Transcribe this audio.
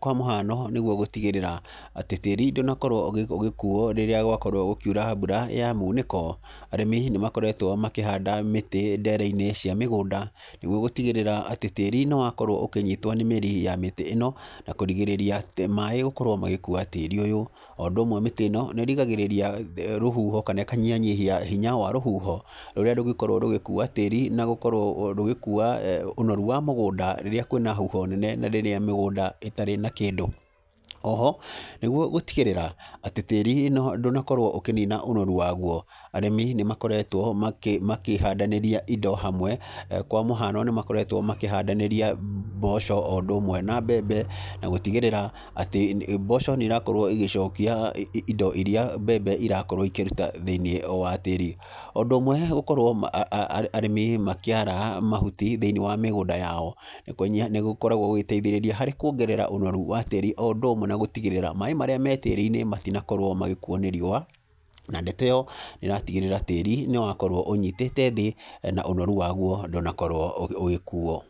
Kwa mũhano nĩguo gũtigĩrĩra atĩ tĩri ndũnakorwo ũgĩkuo rĩrĩa gwakorwo gũkiura mbura ya munĩko arĩmi nĩ makoretwo makĩhanda mĩtĩ ndere-inĩ cia mĩgũnda, nĩguo gũtigĩrĩra atĩ tĩri nĩ wakorwo ũkĩnyitwo nĩ mĩri ya mĩtĩ ĩno, na kũrigĩrĩria maaĩ gũkorwo magĩkua tĩri ũyũ. O ũndũ ũmwe mĩtĩ ĩno nĩ ĩrigagĩrĩria rũhuho kana ĩkanyihanyihia hinya wa rũhuho rũria rũngĩkorwo rũgĩkia tĩri na gũkorwo rũgĩkua ũnoru wa mũgũnda rĩrĩa kwĩ na huho nene na rĩrĩa mĩgũnda ĩtari na kĩndũ. Oho, nĩguo gũtigĩrĩra atĩ tĩri ndũnakorwo ũkĩnina ũnoru wagwo arĩmi nĩ makoretwo makĩhandanĩria indo hamwe. Kwa mũhano nĩ makoretwo makĩhandanĩria mboco o ũndũ ũmwe na mbembe, na gũtigĩrĩra atĩ mboco nĩ irakorwo igĩcokia indo iria mbembe irakorwo ikĩruta thĩ-inĩ wa tĩri. Ũndũ ũmwe gũkorwo arĩmi makĩara mahuti thĩ-inĩ wa mĩgũnda yao nĩ gũkoragwo gũgĩteithĩrĩria harĩ kwongerera ũnoru wa tĩri o ũndũ ũmwe na gũtigĩrĩra maaĩ marĩ me tĩri-inĩ matinakorwo magĩkuo nĩ rĩũa. Na ndeto ĩyo nĩ ĩratigĩrĩra tĩri nĩ wakorwo ũnyitĩte thĩ na ũnoru waguo ndũnakorwo ũgĩkuo.